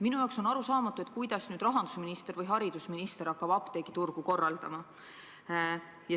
Minu jaoks on arusaamatu, kuidas nüüd rahandusminister või haridusminister hakkab apteegiturgu korraldama.